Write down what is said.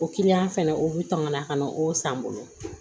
O fɛnɛ o bi tɔmana ka na o san n bolo